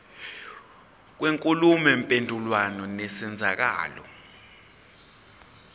kwenkulumo mpendulwano nesenzeko